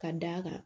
Ka d'a kan